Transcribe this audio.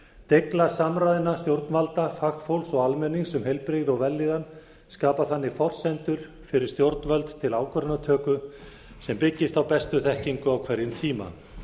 deigla samræðna stjórnvalda fagfólks og almennings um heilbrigði og vellíðan skapar forsendur fyrir stjórnvöld til ákvarðanatöku sem byggist á bestu þekkingu á hverjum tíma